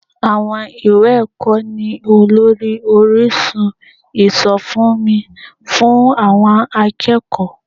Àwọn ìwé ẹ̀kọ́ ni olórí orísun ìsọfúnni fún àwọn akẹ́kọ̀ọ́